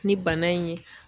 Ni bana in ye